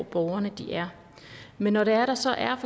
borgerne er men når det er at der så er